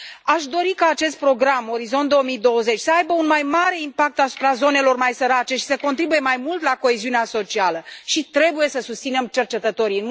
Aș dori ca acest program Orizont 2020 să aibă un mai mare impact asupra zonelor mai sărace și să contribuie mai mult la coeziunea socială și trebuie să susținem cercetătorii.